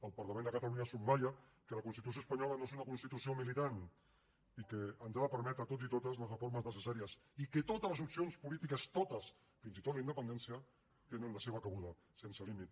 el parlament de catalunya subratlla que la constitució espanyola no és una constitució militant i que ens ha de permetre a tots i totes les reformes necessàries i que totes les opcions polítiques totes fins i tot la independència hi tenen la seva cabuda sense límit